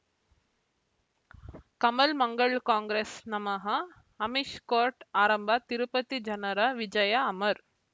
ಕಮಲ್ ಮಂಗಳ್ ಕಾಂಗ್ರೆಸ್ ನಮಃ ಅಮಿಷ್ ಕೋರ್ಟ್ ಆರಂಭ ತಿರುಪತಿ ಜನರ ವಿಜಯ ಅಮರ್